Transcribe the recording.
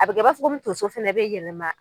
A bɛ kɛ i b'a fɔ komi tonso fɛnɛ be yɛlɛma